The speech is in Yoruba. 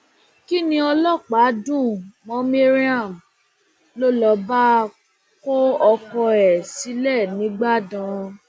kinni ọlọpàá dùn mọ mariam ló ló bá kọ ọkọ ẹ sílẹ nígbàdàn